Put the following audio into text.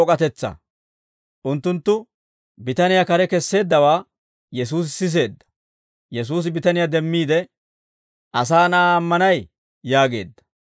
Unttunttu bitaniyaa kare kesseeddawaa Yesuusi siseedda; Yesuusi bitaniyaa demmiide, «Asaa Na'aa ammanay?» yaageedda.